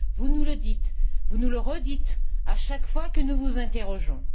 Vous nous le dites, vous nous le redites, à chaque fois que nous vous interrogeons.